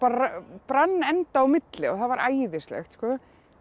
brann enda á milli það var æðislegt sko